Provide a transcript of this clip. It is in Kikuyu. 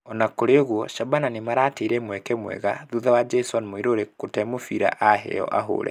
Ona kũrĩ ũguo Shaban nĩmarateire mweke mwega thutha wa Jason Muiruri gũte mũbira aheo ahũre.